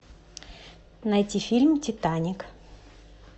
найти фильм титаник